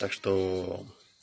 так что